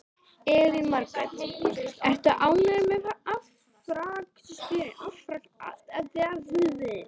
Elín Margrét: Ertu ánægður með afraksturinn?